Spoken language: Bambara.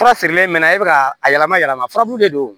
Fura feerelen mɛ e bɛ ka a yɛlɛma yɛlɛma furabulu de don